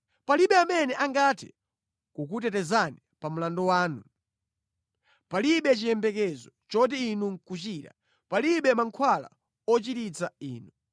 Palibe amene angathe kukutetezani pa mlandu wanu, palibe chiyembekezo choti inu nʼkuchira, palibe mankhwala ochiritsa inu.